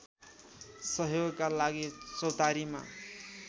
सहयोगका लागि चौतारीमा